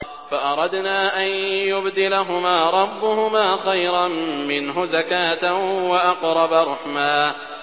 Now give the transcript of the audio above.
فَأَرَدْنَا أَن يُبْدِلَهُمَا رَبُّهُمَا خَيْرًا مِّنْهُ زَكَاةً وَأَقْرَبَ رُحْمًا